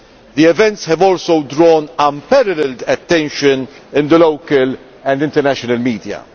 The events have also drawn unparalleled attention in the local and international media.